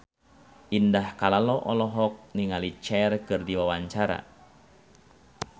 Indah Kalalo olohok ningali Cher keur diwawancara